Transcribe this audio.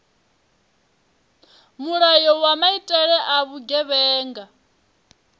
mulayo wa maitele a vhugevhenga